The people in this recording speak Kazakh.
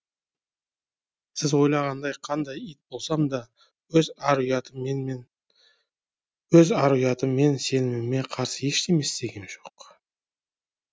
сіз ойлағандай қандай ит болсам да өз ар ұятым мен өз ар ұятым мен сеніміме қарсы ештеме істегем жоқ